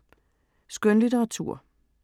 Skønlitteratur